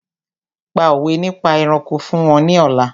Pa òwé nípa ẹranko fún wọn ní ọ̀la!